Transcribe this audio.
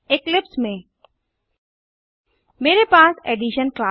Eclipse में मेरे पास एडिशन